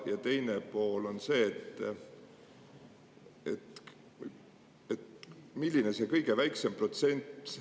Ja teine pool on see, milline võiks olla kõige väiksem legitiimne protsent.